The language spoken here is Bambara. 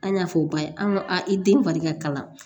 An y'a fɔ o ba ye an ko a i den fari ka kalan